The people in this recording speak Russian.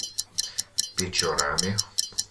печорами